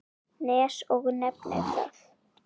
Nes og nefnir það.